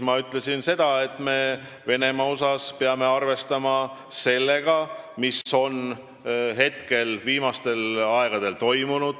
Ma ütlesin seda, et me peame Venemaa puhul arvestama sellega, mis on viimastel aegadel toimunud.